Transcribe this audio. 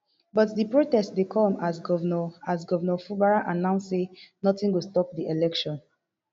but di protest dey come as govnor as govnor fubara announce say notin go stop di election